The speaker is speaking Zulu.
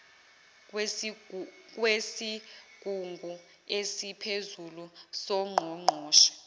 kwesigungu esiphezulu songqongqoshe